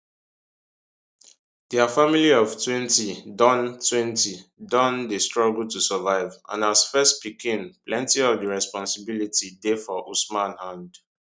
dia family oftwentydontwentydon dey struggle to survive and as first pikin plenti of di responsibility dey for usman hand